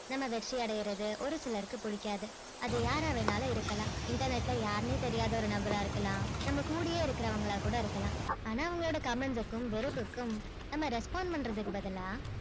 நம்ம வெற்றி அடியாரது ஒரு சிலருக்கு பிடிக்காது அது யாரா வேண்டும்னாலும் இருக்கலாம் internet யாருனே தெரியாத ஒரு நபரா இருக்கலாம் நம்ம கூடியே இருக்குறவங்களா கூட இருக்கலாம் ஆனா அவங்களோட comment க்கும் வெறுப்புக்கும் நம்ம respond பண்றதுக்கு பதில்லா